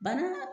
Banan